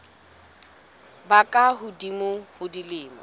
ba ka hodimo ho dilemo